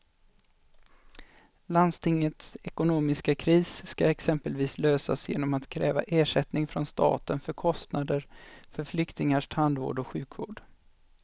Landstingets ekonomiska kris ska exempelvis lösas genom att kräva ersättning från staten för kostnader för flyktingars tandvård och sjukvård.